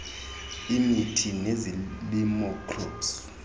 imithi nezilimo crops